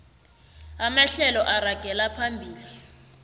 amahlelo aragela phambili